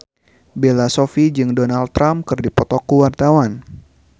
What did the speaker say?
Bella Shofie jeung Donald Trump keur dipoto ku wartawan